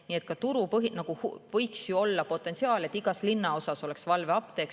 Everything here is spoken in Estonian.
Nii et nagu võiks ju olla potentsiaali, et igas linnaosas oleks valveapteek.